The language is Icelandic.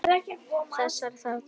Þessum þarna!